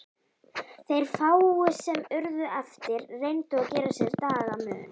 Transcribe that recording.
Þeir fáu sem urðu eftir reyndu að gera sér dagamun.